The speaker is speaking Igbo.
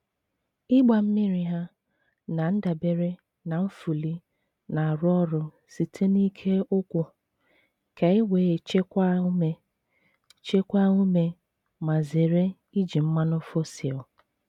Ịgba mmiri ha na-adabere na nfuli na-arụ ọrụ site n’ike ụkwụ, ka ewee chekwaa ume chekwaa ume ma zere iji mmanụ fosil.